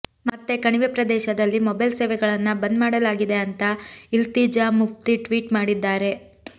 ಮತ್ತೆ ಕಣಿವೆ ಪ್ರದೇಶದಲ್ಲಿ ಮೊಬೈಲ್ ಸೇವೆಗಳನ್ನ ಬಂದ್ ಮಾಡಲಾಗಿದೆ ಅಂತ ಇಲ್ತೀಜಾ ಮುಫ್ತಿ ಟ್ವೀಟ್ ಮಾಡಿದ್ದಾರೆ